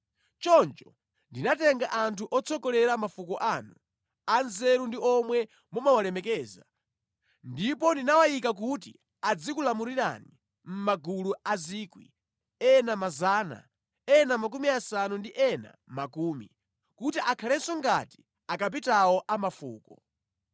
Choncho ndinatenga anthu otsogolera mafuko anu, anzeru ndi omwe mumawalemekeza, ndipo ndinawayika kuti azikulamulirani mʼmagulu a 1,000, ena 100, ena makumi asanu ndi ena khumi, kuti akhalenso ngati akapitawo a mafuko.